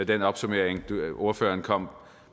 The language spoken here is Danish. den opsummering som ordføreren kom